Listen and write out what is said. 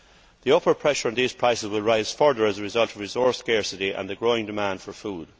The upper pressure on these prices will rise further as a result of resource scarcity and a growing demand for food.